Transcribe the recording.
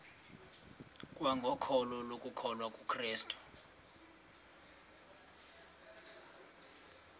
kwangokholo lokukholwa kukrestu